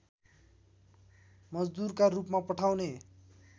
मजदुरका रूपमा पठाउने